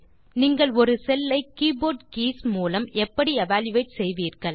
நீங்கள் ஒரு செல் ஐ கீபோர்ட் கீஸ் மூலம் எப்படி எவல்யூயேட் செய்வீர்கள்